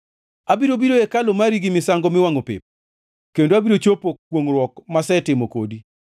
Abiro biro e hekalu mari gi misango miwangʼo pep kendo abiro chopo kwongʼruok masetimo kodi.